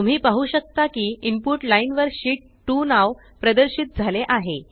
तुम्ही पाहु शकता की इनपुट लाईन वर शीत 2 नाव प्रदर्शित झाले आहे